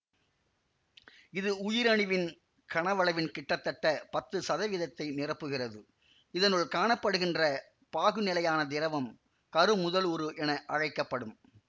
இது உயிரணுவின் கனவளவின் கிட்டத்தட்ட பத்து சதவீதத்தை நிரப்புகிறது இதனுள் காண படுகின்ற பாகுநிலையான திரவம் கருமுதலுரு என அழைக்க படும்